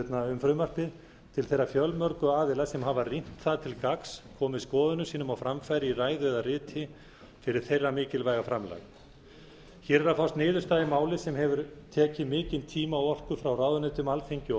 um frumvarpið til þeirra fjölmörgu aðila sem hafa rýnt það til gagns komið skoðunum sínum á framfæri í ræðu eða riti fyrir þeirra mikilvæga framlag hér er að fást niðurstaða í máli sem hefur tekið mikinn tíma og orku frá ráðuneytum alþingi og